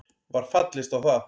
Var fallist á það